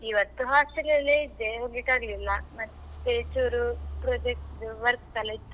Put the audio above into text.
Hostel ಅಲ್ಲೇ ಇದ್ದೆ ಹೋಗ್ಲಿಕ್ ಆಗ್ಲಿಲ್ಲ, ಮತ್ತೆ ಚೂರು project work ಎಲ್ಲಾ ಇತ್ತು ಹಾಗೆ ಬಿಟ್ಟು.